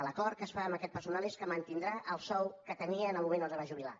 l’acord que es fa amb aquest personal és que mantindrà el sou que tenia en el moment que es va jubilar